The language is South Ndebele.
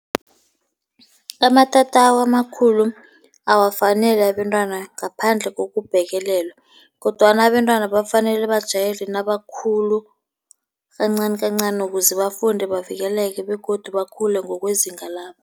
Amatatawu amakhulu awafanele abentwana, ngaphandle kokubhekelelwa kodwana abentwana bafanele bajayele nabakhulu kancanikancani, ukuze bafunde bavikeleke begodu bakhule ngokwezinga labo.